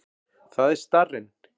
Það er starrinn.